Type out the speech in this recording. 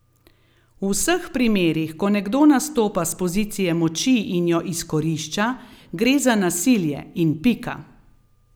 V vseh primerih, ko nekdo nastopa s pozicije moči in jo izkorišča, gre za nasilje in pika.